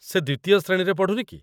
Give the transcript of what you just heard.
ସେ ଦ୍ୱିତୀୟ ଶ୍ରେଣୀରେ ପଢ଼ୁନି କି?